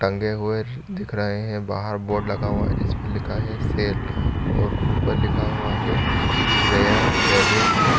टंगे हुए दिख रहे है बाहर बोर्ड लगा हुआ है जिसमे लिखा हुआ है सेल और ऊपर लिखा हुआ है रेयर रैबिट --